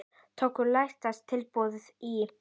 Tóku lægsta tilboði í.